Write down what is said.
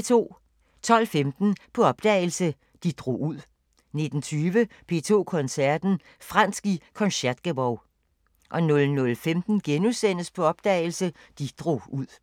12:15: På opdagelse – De drog ud 19:20: P2 Koncerten – Fransk i Concertgebouw 00:15: På opdagelse – De drog ud *